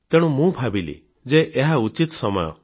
ତେଣୁ ଭାବିଲି ଯେ ଏହା ଉଚିତ ସମୟ ଅଟେ